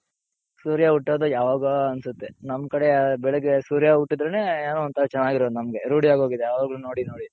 ಸೂರ್ಯ ಹುಟ್ತೋದೆ ಯಾವಾಗೋ ಅನ್ಸುತ್ತೆ ನಮ್ ಕಡೆ ಬೆಳಗ್ಗೆ ಸೂರ್ಯ ಹುಟ್ಟುದ್ರೆನೆ ಏನೋ ಒಂಥರಾ ಚೆನ್ನಗಿರೋದ್ ನಮಗೆ ರೂಡಿ ಆಗೋಗಿದೆ ಯಾವಾಗಲು ನೋಡಿ ನೋಡಿ.